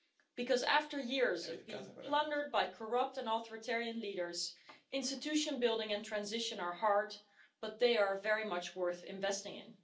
Because after years of being plundered by corrupt and authoritarian leaders, institution building and transition are hard but they are very much worth investing in.